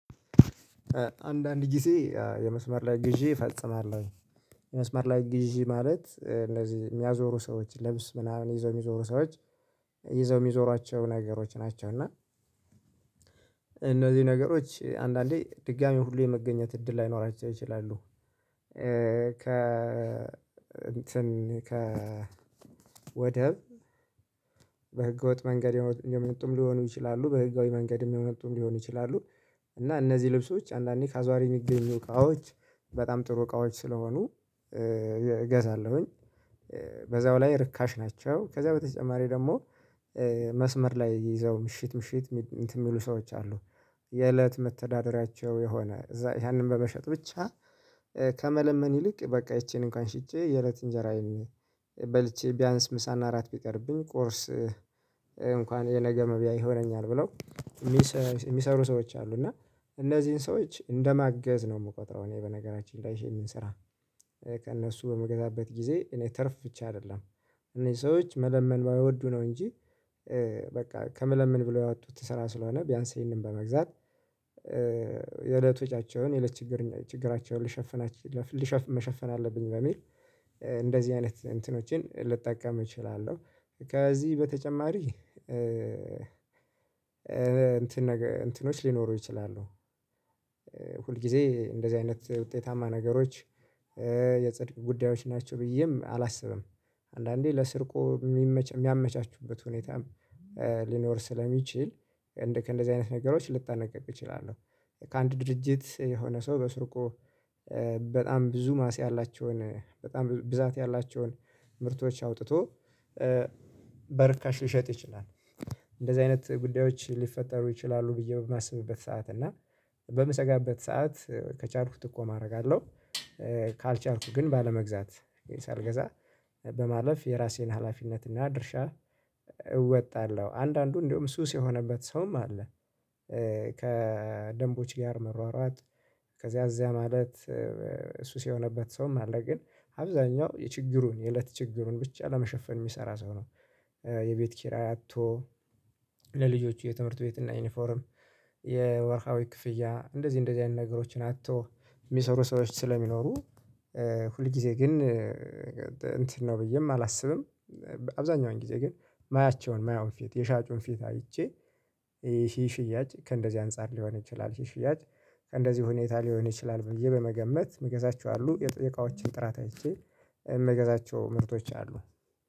አንዳንድ ጊዜ የመስመር ላይ ግዢ እፈጽማለሁኝ። የመስመር ላይ ግዢ ማለት ለዚህ የሚያዞሩ ሰዎች ልብስ ምናምን ይዘው የሚዞሩ ሰዎች ይዘው የሚዞሯቸው ነገሮች ናቸው። እና እነዚህ ነገሮች አንዳንዴ ድጋሚ ሁሉ የመገኘት እድል ላይኖርአቸው ይችልም። ከ እንትን ከ ወደብ በህገወጥ መንገድ የመጡ ሊሆኑ ይችላሉ በህጋዊ መንገድም የመጡ ሊሆኑ ይችላሉ። እና እነዚህ ልብሶች አንዳንዴ ከአዟሪ የሚገኙ እቃዎች በጣም ጥሩ እቃዎች ስለሆኑ እገዛለሁኝ። በዛው ላይ ርካሽ ናቸው። ከዛ በተጨማሪ ደግሞ መስመር ላይ የይዘው ምሽት ምሽት እንትን እሚሉ ሰዎች አሉ። የእለት መተዳደሪያቸው የሆነ ያንን በመሸጥ ብቻ ከመለመን ይልቅ በቃ ይቺን እንኳን ሽጬ የእለት እንጀራ በልቼ ቢያንስ ምሳና እራት ቢቀርብኝ ቁርስ እንኳን የነገ መብያ ይሆነኛል ብለው የሚሰሩ ሰዎች አሉ እና እነዚህን ሰዎች እንደማገዝ ነው የምቆጥረው። እኔ በነገራችን ላይ ይሄን ስራ የምንሰራ ከእነሱ በምገዛበት ጊዜ እኔ ተርፍ ብቻ አይደለም። እኔ ሰዎች መለመን ባይወዱ ነው እንጂ በቃ ከመለመን ብለው ያወጡት ስራ ስለሆነ ቢያንስ ይሄንን በመግዛት የለት ወጫቸውን የለች ችግር ችግራቸውን ሊሸፍናቸው ሊሸፍ መሸፈን አለብኝ በሚል እንደዚህ አይነት እንትኖቼን ልጠቀም እችላለሁ። ከዚህ በተጨማሪ እንትን ነገር እንትኖች ሊኖሩ ይችላሉ። ሁል ጊዜ እንደዚህ አይነት ውጤታማ ነገሮች የጽድቅ ጉዳዮች ናቸው ብዬም አላስብም። አንዳንዴ ለስርቆት የሚያመቻቹበት ሁኔታም ሊኖር ስለሚችል ከእንደዚህ አይነት ነገሮች ልጠነቀቅ እችላለሁ። ከአንድ ድርጅት የሆነ ሰው በስርቆ በጣም ብዙ ማስ ያላቸውን በጣም ብዛት ያላቸውን ምርቶች አውጥቶ በርካሽ ሊሸጥ ይችላል። እንደዚህ አይነት ጉዳዮች ሊፈጠሩ ይችላሉ ብዬ በማስብበት ሰዓት እና በምሰጋበት ሰዓት ከቻልኩት ጥቆማ ማድረግ አለው። ካልቻልኩ ግን ባለመግዛት ሳልገዛ በማለፍ የራሴን ሀላፊነት እና ድርሻ እወጣለሁ። አንዳንዱ እንደውም ሱስ የሆነበት ሰውም አለ። ከደንቦች ጋር መሯሯጥ ከዚያ ከዚያ ማለት ሱስ የሆነበት ሰውም አለ። ግን አብዛኛው የችግሩን የእለት ችግሩን ብቻ ለመሸፈን የሚሰራ ሰው ነው። የቤት ኪራይ አቶ ለልጆቹ የትምህርት ቤት እና ዩኒፎርም የወርሃዊ ክፍያ እንደዚህ እንደዚህ አይነት ነገሮችን አቶ እሚሰሩ ሰወች ስለሚኖሩ። ሁል ጊዜ ግን እንትን ነው ብዬም አላስብም። አብዛኛውን ጊዜ ግን ማያቸውን ማያውን ፊት የሻጩን ፊት አይቼ ይሄ ሽያጭ ከእንደዚህ አንፃር ሊሆን ይችላል። ይህ ሽያጭ ከእንደዚህ ሁኔታ ሊሆን ይችላል ብዬ በመገመት እምገዛቸው አሉ የቃወችን ጥራት አይቼ የምገዛቸው ምርቶች አሉ